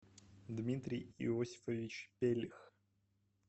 дмитрий иосифович пелих